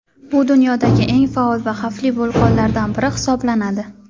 Bu dunyodagi eng faol va xavfli vulqonlardan biri hisoblanadi.